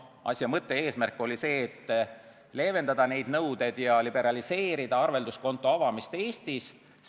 Asja mõte ja eesmärk oli see, et leevendada neid nõudeid ja liberaliseerida arvelduskonto avamist Eestis.